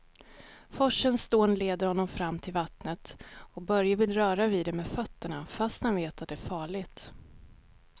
Forsens dån leder honom fram till vattnet och Börje vill röra vid det med fötterna, fast han vet att det är farligt.